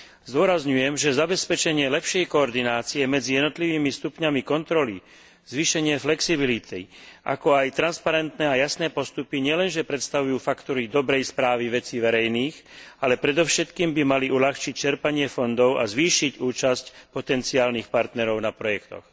Zdôrazňujem, že zabezpečenie lepšej koordinácie medzi jednotlivými stupňami kontroly, zvýšenie flexibility, ako aj transparentné a jasné postupy nielenže predstavujú faktory dobrej správy vecí verejných, ale predovšetkým by mali uľahčiť čerpanie fondov a zvýšiť účasť potenciálnych partnerov na projektoch.